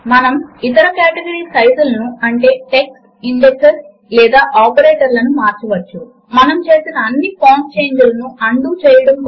ఆ తరువాత రెండవ ప్లేస్ హోల్దేర్ ను హైలైట్ చేయండి మరియు ఫార్ములా ఎడిటర్ విండో లో 3 అని టైప్ చేయండి